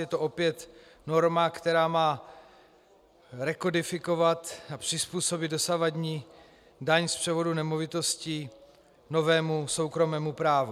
Je to opět norma, která má rekodifikovat a přizpůsobit dosavadní daň z převodu nemovitostí novému soukromému právu.